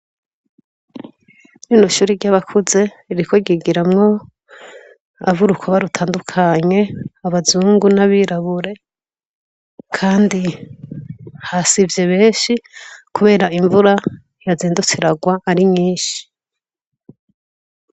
Mw'ishure ry'abakuze ririko ryigiramwo ab'urukoba rutandukanye abazungu n'abirabure, kandi hasivye benshi kubera ivura yazindutse iragwa ari nyinshi.